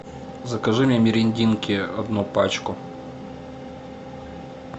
закажи мне мерендинки одну пачку